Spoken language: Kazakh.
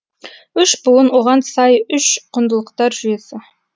үш буын оған сай үш құндылықтар жүйесі